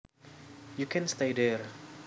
You can stay there